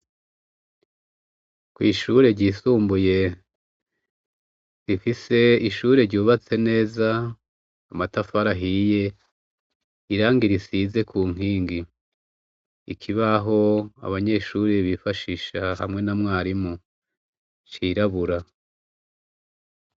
ku ishure ryisumbuye rifise ishure ryubatse neza amatafari ahiye irangi risize ku nkingi ikibaho abanyeshuri bifashisha hamwe na mwarimu cirabura